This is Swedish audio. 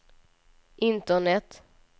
internet